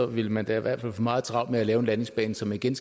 ville man da i hvert fald få meget travlt med at lave en landingsbane så man igen